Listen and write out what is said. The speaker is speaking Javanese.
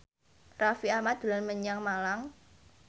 Raffi Ahmad dolan menyang Malang